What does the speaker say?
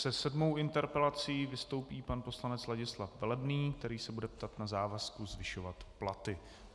Se sedmou interpelací vystoupí pan poslanec Ladislav Velebný, který se bude ptát na závazek zvyšovat platy.